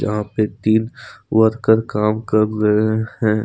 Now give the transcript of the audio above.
पे तीन वर्कर काम कर रहे हैं।